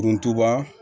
Buntuba